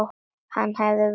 Ég hef verið þar.